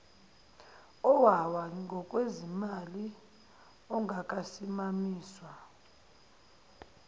owawa ngokwezimali ongakasimamiswa